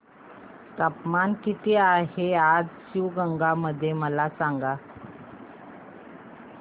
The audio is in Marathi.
तापमान किती आहे आज शिवगंगा मध्ये मला सांगा